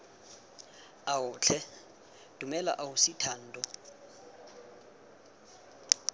ao tlhe dumela ausi thando